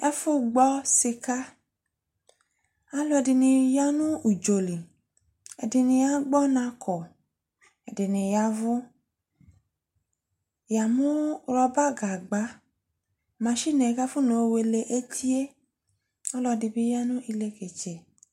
Ɛfo gbɔ sikaAluɛde ne ya no udzɔ li Ɛdene agbɔnako ako, ɛdene yavu Ya mu rɔba gagba, machine kafɔna yɔ wele etie, Alɔde be ya no elɛkɛtsɛ